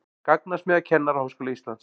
Gagnasmiðja Kennaraháskóla Íslands